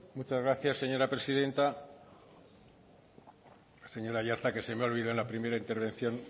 muchas gracias señora presidenta señor aiartza que se me ha olvidado en la primera intervención